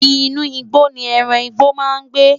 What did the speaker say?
Inú igbó ni ẹran ìgbẹ́ máa ń gbé.